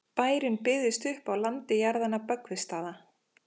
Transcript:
bærinn byggðist upp á landi jarðanna böggvisstaða